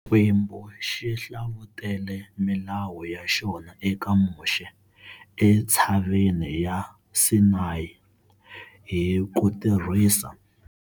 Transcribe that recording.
Xikwembu xi hlavutele milawu ya xona eka Moxe entshaveni ya Sinayi, hi ku tirhisa.